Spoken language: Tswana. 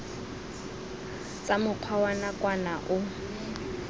tsa mokgwa wa nakwana o